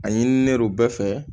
A ɲinilen bɛɛ fɛ